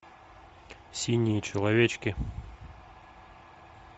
синие человечки